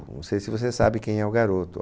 Não sei se você sabe quem é o garoto.